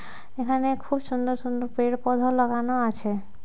এখানে খুব সুন্দর সুন্দর পেড় পধা লাগানো আছে।